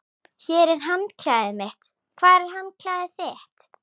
Hér er handklæðið mitt. Hvar er handklæðið þitt?